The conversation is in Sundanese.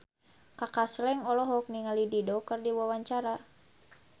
Kaka Slank olohok ningali Dido keur diwawancara